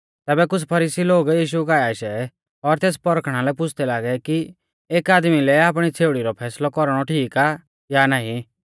तैबै कुछ़ फरीसी लोग यीशु काऐ आशै और तेस पौरखणा लै पुछ़दै लागै कि एक आदमी लै आपणी छ़ेउड़ी रौ फैसलौ कौरणौ ठीक आ या नाईं